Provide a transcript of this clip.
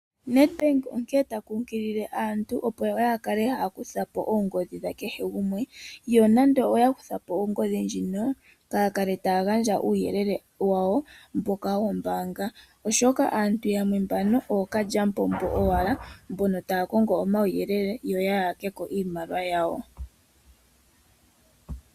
NEDBANK onkene ta kunkilile aantu yaakale taakutha po oongodhi dha kehe gumwe, yo nando oyakutha po ongodhi inaya kala taya gandja omawuyelele gombaanga oshoka aantu yamwe ookaly'apombo owala mbono taya kongo omauyelele yo yaya keko iimaliwa yawo.